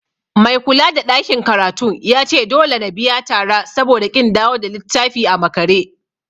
Mai kulada ɗakin karatun yace dole na biya tara saboda ƙin dawo da littafi a makare.